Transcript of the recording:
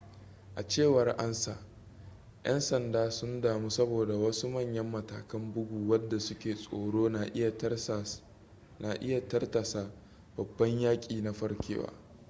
a cewar ansa yan sanda sun damu saboda wasu manyan matakan bugu wadda suke tsoro na iya tartasa babban yaki na farkewa